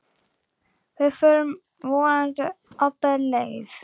Við förum vonandi alla leið